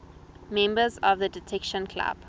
members of the detection club